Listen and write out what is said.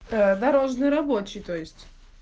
да дорожный рабочий то есть